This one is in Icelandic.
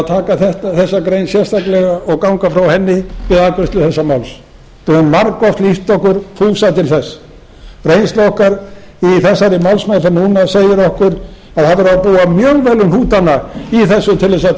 taka þessa grein sérstaklega og ganga frá henni við afgreiðslu þessa máls við höfum margoft lýst okkur fús til þess reynsla okkar í þessari málsmeðferð núna segir okkur að það verður að búa mjög vel um hnútana í þessu til að